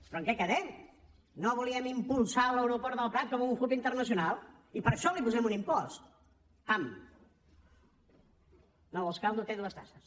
però en què quedem no volíem impulsar l’aeroport del prat com un hub internacional i per això li posem un impost pam no vols caldo té dues tasses